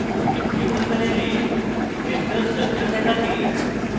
jmol panel crystal structure দেখাতে